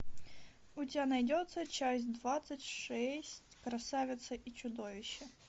у тебя найдется часть двадцать шесть красавица и чудовище